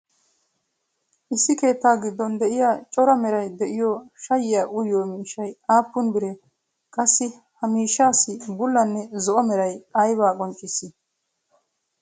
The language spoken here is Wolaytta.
issi keettaa giddon beettiya cora meray de'iyo shayiyaa uyyiyo miishshay aappun biree? qassi ha miishshaassi bulanne zo"o meray aybbaa qonccissii?